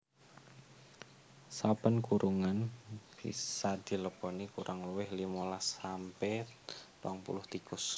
Saben kurungan bisa dileboni kurang luwih limolas sampe rong puluh tikus